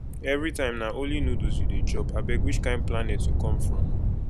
everytime na only noodles you dey chop abeg which kin planet you come from